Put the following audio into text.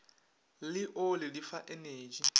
le oli di fa energy